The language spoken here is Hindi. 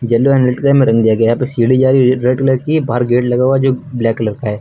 येलो एंड रेड कलर में रंग दिया गया है। यहां पे सीढ़ी जा रही रेड कलर की और बाहर गेट लगा हुआ जो ब्लैक कलर का है।